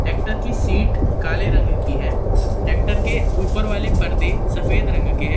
Tractor की seat काले रंग की है ट्रैक्टर के ऊपर वाले परदे सफेद रंग के हैं।